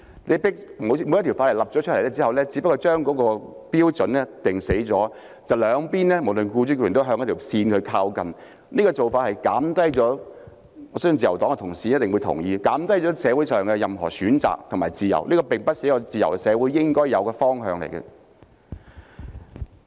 一項法例訂立後，只是將標準限死，無論僱主或僱員也只能向那條線靠近，我相信自由黨同事一定會同意，這種做法只是減低社會上的所有選擇和自由，並不是一個自由社會應該有的方向。